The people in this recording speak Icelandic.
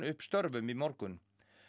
upp störfum í morgun